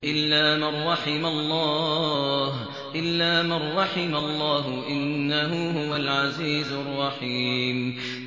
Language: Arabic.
إِلَّا مَن رَّحِمَ اللَّهُ ۚ إِنَّهُ هُوَ الْعَزِيزُ الرَّحِيمُ